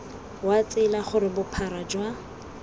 wa tsela gore bophara jwa